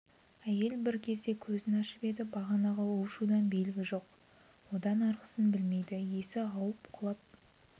әйел бір кезде көзін ашып еді бағанағы у-шудан белгі жоқ одан арғысын білмейді есі ауып құлап